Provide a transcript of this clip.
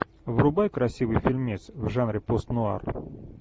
врубай красивый фильмец в жанре пост нуар